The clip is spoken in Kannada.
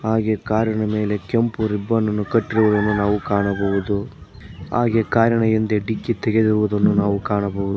ಹಾಗೆ ಕಾರಿನ ಮೇಲೆ ಕೆಂಪು ರಿಬ್ಬನ್ ಅನ್ನು ಕಟ್ಟಿರುವುದನ್ನು ನಾವು ಕಾಣಬಹುದು ಹಾಗೆ ಕಾರಿನ ಹಿಂದೆ ಡಿಕ್ಕಿ ತೆಗೆದಿರುವುದನ್ನು ನಾವು ಕಾಣಬಹು--